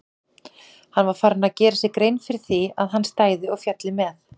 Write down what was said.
Hann var farinn að gera sér grein fyrir því að hann stæði og félli með